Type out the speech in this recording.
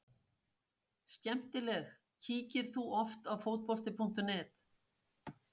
Skemmtileg Kíkir þú oft á Fótbolti.net?